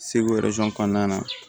Segu kɔnɔna na